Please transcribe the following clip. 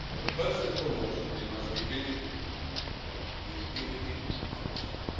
First and foremost, they must be treated with dignity and respect.